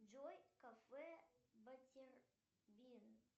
джой кафе баттербин